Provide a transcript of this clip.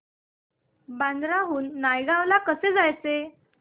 बांद्रा हून नायगाव ला कसं जायचं